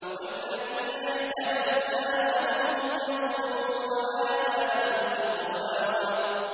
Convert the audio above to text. وَالَّذِينَ اهْتَدَوْا زَادَهُمْ هُدًى وَآتَاهُمْ تَقْوَاهُمْ